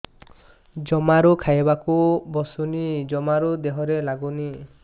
ଜମାରୁ ଖାଇବାକୁ ବସୁନି ଜମାରୁ ଦେହରେ ଲାଗୁନି